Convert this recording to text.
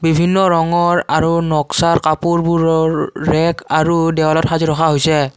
বিভিন্ন ৰঙৰ আৰু নক্সাৰ কাপোৰবোৰৰ ৰেট আৰু দেৱালত সাজি ৰখা হৈছে।